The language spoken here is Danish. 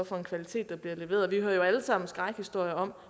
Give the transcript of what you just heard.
for en kvalitet der bliver leveret vi hører jo alle sammen skrækhistorier om